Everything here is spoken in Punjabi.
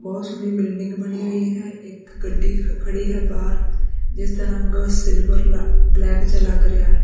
ਬਹੁਤ ਸੋਹਣੀ ਬਿਲਡਿੰਗ ਬਣੀ ਹੋਈ ਹੈ ਇੱਕ ਗੱਡੀ ਖੜੀ ਹੈ ਬਾਹਰ ਜਿਸ ਦਾ ਰੰਗ ਸਿਲਵਰ ਲ ਬਲੈਕ ਜਿਹਾ ਲੱਗ ਰਿਹਾ ਹੈ।